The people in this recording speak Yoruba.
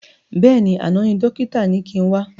Bẹ́ẹ̀ni, àná ni dókítà ni kin wá